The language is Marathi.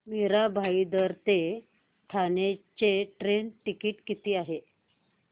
मीरा भाईंदर ते ठाणे चे ट्रेन टिकिट किती आहे